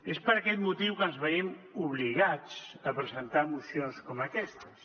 és per aquest motiu que ens veiem obligats a presentar mocions com aquestes